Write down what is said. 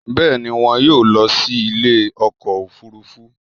Bẹ́ẹ̀ni, wọn yóò lọ sí ilé ọkọ̀ òfurufú